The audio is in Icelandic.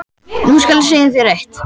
Nú skal ég segja þér eitt.